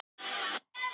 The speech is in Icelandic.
Vertu nú ekki of viss.